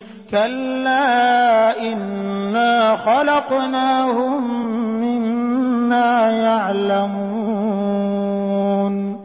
كَلَّا ۖ إِنَّا خَلَقْنَاهُم مِّمَّا يَعْلَمُونَ